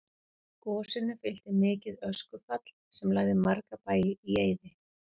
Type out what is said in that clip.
Gosinu fylgdi mikið öskufall sem lagði marga bæi í eyði.